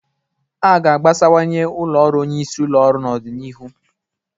A ga-agbasawanye ụlọ ọrụ onyeisi ụlọ ọrụ n'ọdịnihu.